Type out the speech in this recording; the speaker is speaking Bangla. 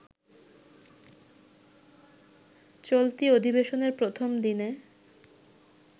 চলতি অধিবেশনের প্রথম দিনে